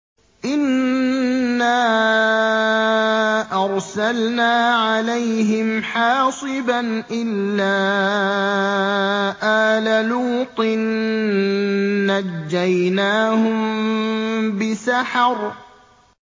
إِنَّا أَرْسَلْنَا عَلَيْهِمْ حَاصِبًا إِلَّا آلَ لُوطٍ ۖ نَّجَّيْنَاهُم بِسَحَرٍ